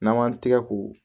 N'an m'an tɛgɛ ko